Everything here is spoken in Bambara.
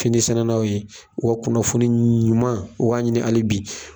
Finisɛnɛnaw ye wa kunnafoni ɲuman, u k'a ɲini hali bi.